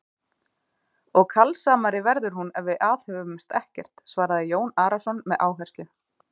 Og kalsamari verður hún ef við aðhöfumst ekkert, svaraði Jón Arason með áherslu.